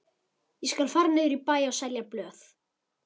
Ég skal fara niður í bæ og selja blöð.